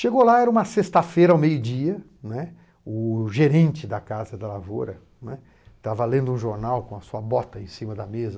Chegou lá, era uma sexta-feira ao meio-dia, né, o gerente da Casa da Lavoura, né, estava lendo um jornal com a sua bota em cima da mesa.